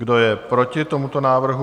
Kdo je proti tomuto návrhu?